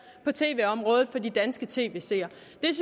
på tv området for de danske tv seere